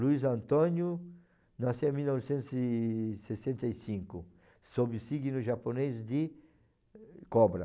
Luiz Antônio nasceu em mil novecentos e sessenta e cinco, sobre o signo japonês de cobra.